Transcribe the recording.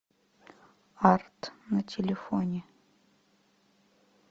арт на телефоне